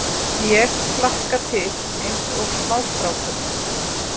Ég hlakka til eins og smástrákur.